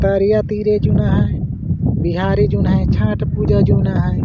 तरिया तीरे जूना है बिहारी जून है छठ पूजा जूना है।